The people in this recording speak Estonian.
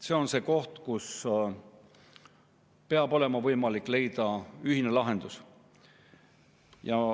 See on see koht, kus peab olema võimalik leida ühine lahendus.